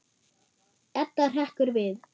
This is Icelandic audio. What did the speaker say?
Edda hrekkur við.